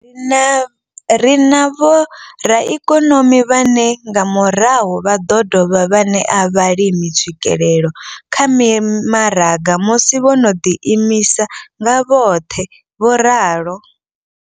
Ri na vhoraikonomi vhane nga murahu vha ḓo dovha vha ṋea vhalimi tswikelelo kha mimaraga musi vho no ḓi imisa nga vhoṱhe, vho ralo.